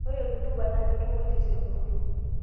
Ore rutuba naa ketumoyu tesiokinoto.